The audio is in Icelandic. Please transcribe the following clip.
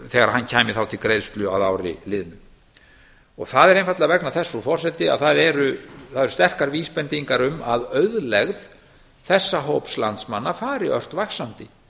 þegar hann kæmi þá til greiðslu að ári liðnu það er einfaldlega til þess frú forseti að það eru sterkar vísbendingar um að auðlegð þessa hóps landsmanna fari ört vaxandi